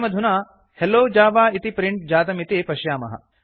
वयमधुना हेल्लो जव इति प्रिंट् जातमिति पश्यामः